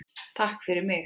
Takk fyrir mig.